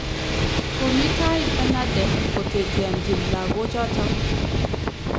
Komii tai FENADEB koteteanchi lagoochoto